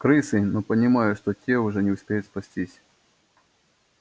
крысы но понимая что те уже не успеют спастись